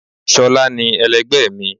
sholá ní, elẹgbẹ mi